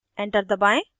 enter दबाएं